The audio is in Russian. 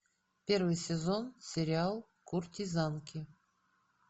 первый сезон сериал куртизанки